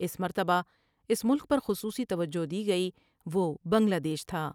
اس مرتبہ اس ملک پر خصوصی توجہ دی گئی وہ بنگلہ دیش تھا ۔